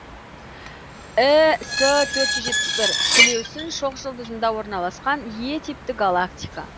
іс төрт жүз жетпіс бір сілеусін шоқжұлдызында орналасқан е типті галактика